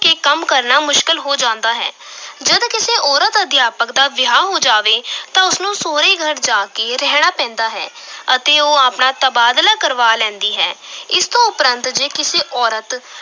ਕੇ ਕੰਮ ਕਰਨਾ ਮੁਸ਼ਕਿਲ ਹੋ ਜਾਂਦਾ ਹੈ ਜਦ ਕਿਸੇ ਔਰਤ ਅਧਿਆਪਕ ਦਾ ਵਿਆਹ ਹੋ ਜਾਵੇ ਤਾਂ ਉਸ ਨੂੰ ਸਹੁਰੇ ਘਰ ਜਾ ਕੇ ਰਹਿਣਾ ਪੈਂਦਾ ਹੈ ਅਤੇ ਉਹ ਆਪਣਾ ਤਬਾਦਲਾ ਕਰਵਾ ਲੈਂਦੀ ਹੈ ਇਸ ਤੋਂ ਉਪਰੰਤ ਜੇ ਕਿਸੇ ਔਰਤ